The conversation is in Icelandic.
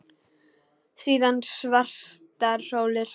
Síðan svartar sólir.